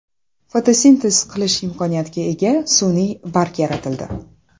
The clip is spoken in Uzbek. Fotosintez qilish imkoniyatiga ega sun’iy barg yaratildi.